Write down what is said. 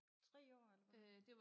3 år eller hvordan